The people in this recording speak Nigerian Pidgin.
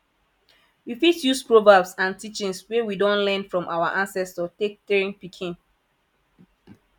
we fit use proverbs and teachings wey we don learn from our ancestor take train pikin